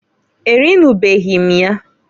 Erinubeghi m ya.